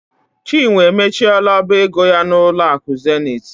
Chinwe emechiela ọba ego ya n'ụlọ akụ Zenith.